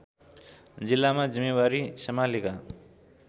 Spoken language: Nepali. जिल्लामा जिम्मेवारी सम्हालेका